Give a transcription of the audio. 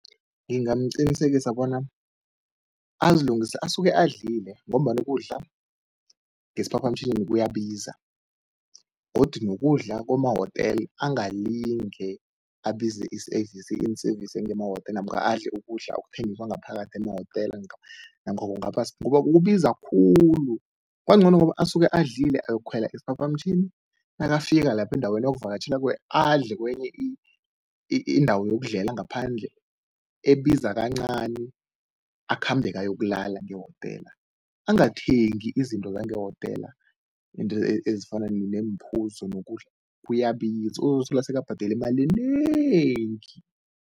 Ngingamqinisekisa bona asuke adlile ngombana ukudla ngesiphaphamtjhini kuyabiza godi nokudla kwemahotela angalinge abize i-service, i-in-service ngemahotela namkha adle ukudla okuthengiswa ngaphakathi emahotela namkha ngoba kubiza khulu, kungcono asuke adlile ayokukhwela isiphaphamtjhini, nakafika lapho endaweni ayokuvakatjhela kiyo adle kwenye indawo yokudlela ngaphandle ebiza kancani, akhambe-ke ayokulala ngehotela. Angathengi izinto zangehotela, izinto ezifana neemphuzo nokudla, uzozithola sekabhadela imali enengi.